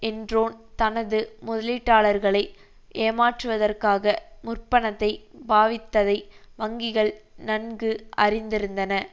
என்ரோன் தனது முதலீட்டாளர்களை ஏமாற்றுவதற்காக முற்பணத்தை பாவித்ததை வங்கிகள் நன்கு அறிந்திருந்தன